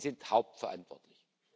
Sie sind hauptverantwortlich.